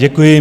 Děkuji.